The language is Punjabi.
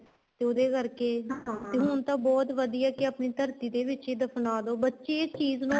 ਤੇ ਉਹਦੇ ਕਰਕੇ ਹੁਣ ਤਾਂ ਬਹੁਤ ਵਧੀਆ ਏ ਕੀ ਆਪਣੀ ਧਰਤੀ ਦੇ ਵਿੱਚ ਦਫਨਾਦੋ ਬੱਚੇ ਇਸ ਚੀਜ਼ ਨੂੰ